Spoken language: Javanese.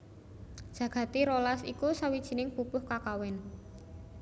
Jagati rolas iku sawijining pupuh kakawin